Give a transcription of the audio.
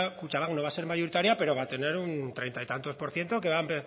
kutxabank no va a ser mayoritaria pero va a tener un treinta y pico por ciento